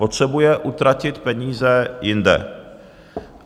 Potřebuje utratit peníze jinde.